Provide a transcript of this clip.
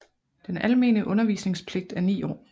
Den almene undervisningspligt er ni år